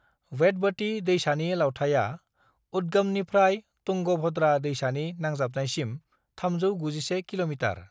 वेदवती दैसानि लावथाइया उद्गमनिफ्राय तुंगभद्रा दैसानि नांजाबनायसिम 391 किल'मीटार।